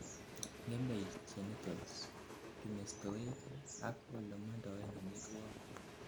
ngemei genitals, kimestowek ak olemondoen omitwogik